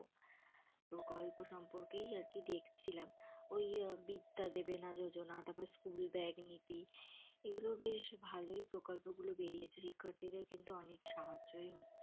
প্রকল্প সম্পর্কেই আরকি দেখছিলাম ওই বিদ্যা দেবেনা যোজনা, তারপর স্কুল ব্যাগ নীতি এগুলো বেশ ভালই প্রকল্প গুলো বেরিয়েছে। শিক্ষার্থীদের কিন্তু অনেক সাহায্যই হচ্ছে।